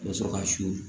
Ka sɔrɔ ka su